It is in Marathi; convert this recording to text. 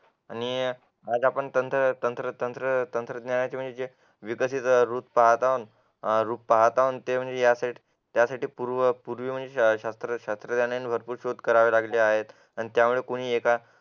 आणि आज तंत्र तंत्रज्ञानाचे विकसित पाहत आहोत ते म्हणजे त्यासाठी पूर्व पूर्वी म्हणजे शास्त्रज्ञाने भरपूर शोध करावे लागले त्यामुळे एका